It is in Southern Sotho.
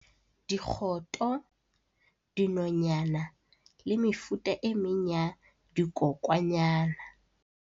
Dikgoto, dinonyana le mefuta e meng ya dikokwanyana.